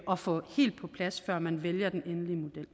at få helt på plads før man vælger den endelige model